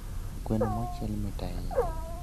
Gweno mochiel mit ahinya